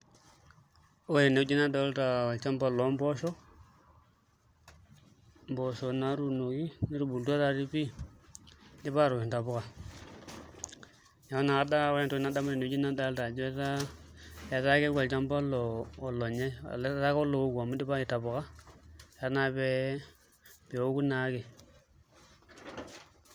Ore tenewueji nadolta olchamba lompoosho, mpoosho naatuunoki netubulutua taatii pii idipa aatoosh ntapuka neeku naa ore entoki nadamu tenwueji nadolta ajo etaa keeku olchamba olonyaai olee etaa ake olooku amu idipa aitapuka etaa naa pee eoku naa ake.